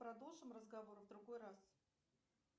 продолжим разговор в другой раз